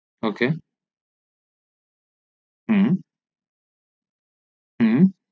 ok হু হু